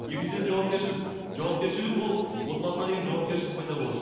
екіншіден жауапкершілік жауапкершілік ол отбасына деген жауапкершілік пайда болады